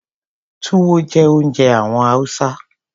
Túwó jẹ́ oúnjẹ àwọn Hausa.